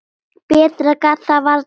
Ekki skeikar neinu.